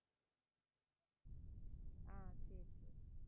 ஆஹ் சரி, சரி